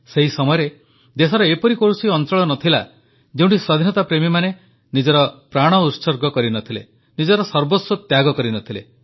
ସେହି ସମୟରେ ଦେଶର ଏପରି କୌଣସି ଅଂଚଳ ନ ଥିଲା ଯେଉଁଠି ସ୍ୱାଧୀନତାପ୍ରେମୀମାନେ ନିଜର ପ୍ରାଣ ଉତ୍ସର୍ଗ କରିନଥିଲେ ନିଜର ସର୍ବସ୍ୱ ତ୍ୟାଗ କରିନଥିଲେ